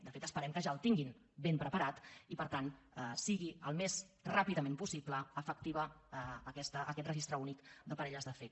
de fet esperem que ja el tinguin ben preparat i per tant sigui al més ràpidament possible efectiu aquest registre únic de parelles de fet